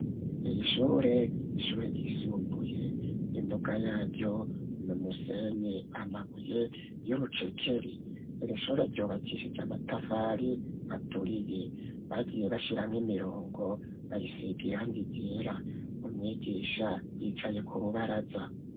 Iri shure n'ishure ryisumbuye, imbuga yaryo n'umusenyi ,amabuye y'urucekeri, iri shure ryubakishije amatafari aturiye, bagiye bashiramwo imirongo bayisig'irangi ryera, umwigisha yicaye k'urubaraza.